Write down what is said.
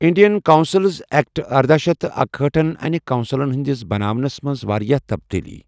Indian councils اٮ۪کٹ ارداہ شیتھ اکہأٹھہن انہِ كون٘سلن ہندِس بناونس منز وارِیاہ تبدیلی ۔